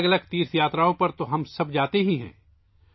ہم سب الگ الگ تیرتھ یاتراؤں پر جاتے ہیں